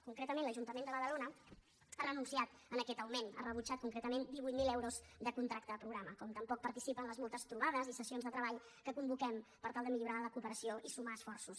concretament l’ajuntament de badalona ha renunciat a aquest augment ha rebutjat concretament divuit mil euros de contracte programa com tampoc participa en les moltes trobades i sessions de treball que convoquem per tal de millorar la cooperació i sumar esforços